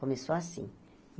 Começou assim.